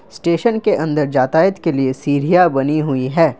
Station के अंदर जातायत के लिए सीढ़िया बनी हुई है ।